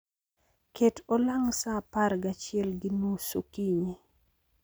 Ket olang' sa apar gachiel gi nus okinyi